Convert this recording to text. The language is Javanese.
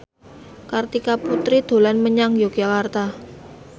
Kartika Putri dolan menyang Yogyakarta